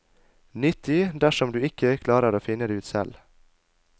Nyttig dersom du ikke klarer å finne det ut selv.